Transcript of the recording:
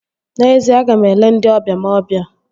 N'ezie, aga m ele ndị ọbịa m obia